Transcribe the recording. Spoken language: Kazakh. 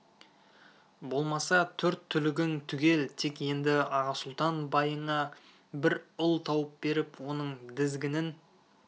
болмаса төрт түлігің түгел тек енді аға сұлтан байыңа бір ұл тауып беріп оның дізгінін